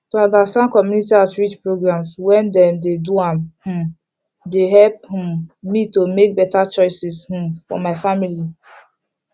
to understand community outreach programs when dem dey do am um dey help um me to make better choices um for my family